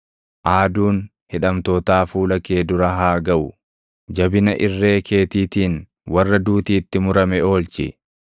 Aaduun hidhamtootaa fuula kee dura haa gaʼu; jabina irree keetiitiin warra duuti itti murame oolchi.